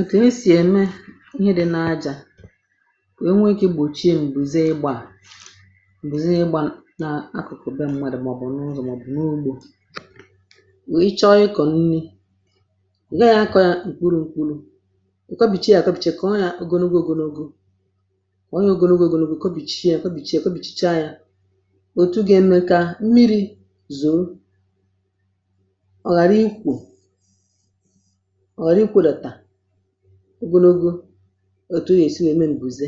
ǹkè esì ème ihe dị̇ na ajȧ bụ̀ o nwee ike igbòchie m̀gbè zi ịgbȧ à m̀gbè zi ịgbȧ nȧ akụ̀kụ̀ be m̀madụ̀ eh màọ̀bụ̀ n’ụzọ̀ um màọ̀bụ̀ n’ugbȯ wèe ị chọrọ ịkọ̀ nni̇ ghe yȧ akọ̇ yȧ ǹkwuru̇ ǹkwuru̇ ah ǹkọbìcha ǹka bìchekọọ ya ogologo ògologo ǹka bìchie yȧ kọbìchie kọbìchiecha yȧ òtù gà-eme kà mmiri̇ zùrù ọ̀rị ikwȯlɪ̀tà ogologo òtù nà èsi nà ème m̀bùze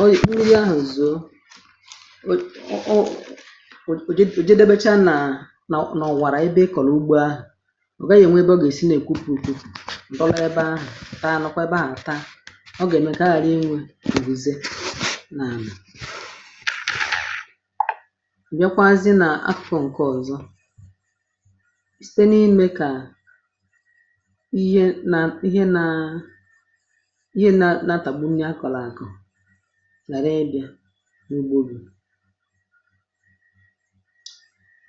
ọrị̀ kpuru yȧ ahụ̀ zùo ò jedebecha nà à nà ọ̀wàrà ebe ị kọ̀rọ̀ ugbo ahụ̀ ọ̀ gaghị̇ ènwe ebe ọ gà èsi nà èkwupu ekwupu um m̀bọlọ ebe ahụ̀ taa nọkwa ebe à taa ah ọ gà ème ǹkè aghàrị inwė bùze nà m̀yẹkwazị n’akụ̇kụ̇ ǹke ọ̀zọ site n’ime kà ihe nà ihe eh nȧ ihe nȧ natagbu nye akọ̀ n’àkọ̀ ghàra ibị̇a n’ugbo òbu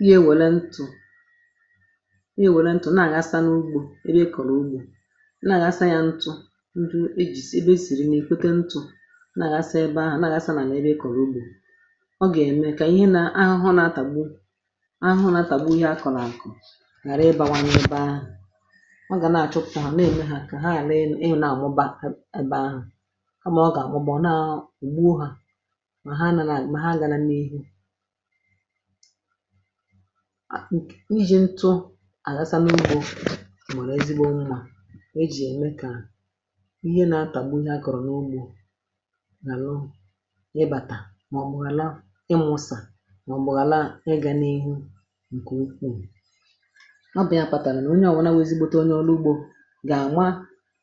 ihe nwèlentù nye nwèlentù na-àgasa n’ugbȯ ebe e kọ̀rọ̀ ugbȯ na-àgasa ya ntụ̇ ntụ e jìsì ebe e sìrì nà èkwekwa ntụ̇ na-àgasa ebe ahụ̀ na-àgasa n’ebe e kọ̀rọ̀ ugbȯ ọ gà-ème kà ihe nà ahụhụ um na-atàgbu ahụhụ natàgbu ihe a kọ̀ n’àkọ̀ ghàra ịbȧwanye ebe ahụ̀ ọ gà na-àchọpụ̀ ahụ̀ ah na-ème ha kà ha nà-elu ịwụ̇ na-àmụba ebe ahụ̀ ha mà ọ gà-àmụbọ nà ùgbuo hȧ mà ha anà nà àmụbọ ha agȧna n’ihu iji̇ ntụ àghasa n’ugbȯ eh màrà ezigbo mmȧ ejì ème kà ihe na-atàgu ihe a kọ̀rọ̀ n’ugbȯ gà nu ịbàtà ah màọ̀bụ̀ hàla ịmụ̇sà màọ̀bụ̀ hàla ga n’ihu ǹkè ukwuù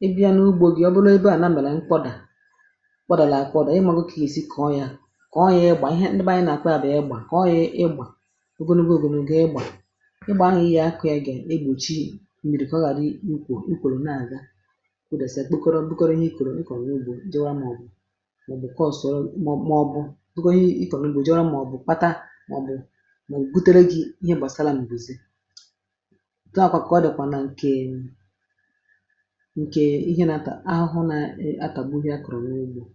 ebe ya n’ugbȯ gì ọ bụrụ ebe à na mèlè nkwọdà kpọdàlà àkwọdà ị mȧ gụ kà èsi kọ̀ọ ya kọ̀ọ ya um ị gbà ihe nldị bụ ànyị nà àkwọ yȧ bụ̀ ya ị gbà kọ̀ọ ya ị gbà ogonugwu gụ̀ m̀gbè ị gbà ịgbà ahụ̀ ihe akụ̇ yȧ gà igbòchi miri̇ eh kà ọ ghàrị ikwò ukwùrù na-àga kpọdòsìe kpọkọrọ ịkọ̀rọ̀ ị kọ̀rọ̀ ị gbụ̇ dịwa màọ̀bụ̀ kọọsòrò màọ̀bụ̀ dịwa ị kọ̀nụ̀ gbù jọrọ̀ ah màọ̀bụ̀ kpata màọ̀bụ̀ màọ̀bụ̀ butere gị̇ ihe gbàsara nbùzi ǹkè ihe nȧ atà ahụ hụ nȧ atàgbu dị akọ̀ n’ugbȯ um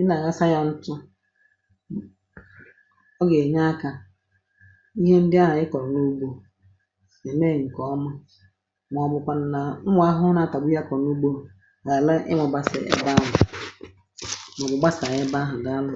ị nà àghazanya ntụ ọ ọ gà ènye akȧ ihe ndị ahà ị kọ̀ n’ugbȯ è mee ǹkè ọma mà ọ bụ̀kwànụ̀ nà nwà àhụ na atàgbu ya kọ̀ n’ugbȯ ghàle ị nwụ̇bàsị̀ ebe ahụ̀ eh mà ọ̀ bụ̀ gbasànyè ebe ahụ̀ dị anụ.